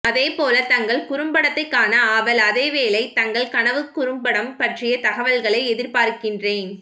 அதே போல தங்கள் குறும்படத்தை காண ஆவல் அதேவேளை தங்கள் கனவுக்குறும்படம் பற்றிய தகவல்களை எதிர்பார்கின்றேன்